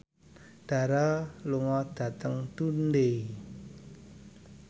Dara lunga dhateng Dundee